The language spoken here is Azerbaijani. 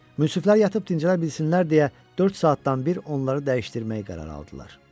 Münsiflər yatıb dincələ bilsinlər deyə dörd saatdan bir onları dəyişdirmək qərarı aldılar.